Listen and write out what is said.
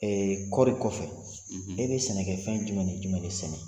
kɔɔri kɔson; ; e bɛ sɛnɛkɛ fɛn jumɛn ni jumɛn de sɛnɛ